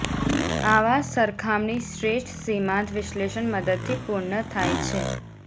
આવા સરખામણી શ્રેષ્ઠ સીમાંત વિશ્લેષણ મદદથી પૂર્ણ થાય છે